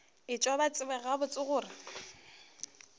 etšwe ba tseba gabotse gore